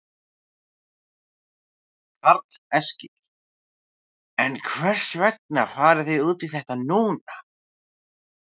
Karl Eskil: En hvers vegna farið þið út í þetta núna?